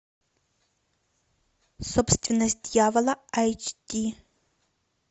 собственность дьявола айч ди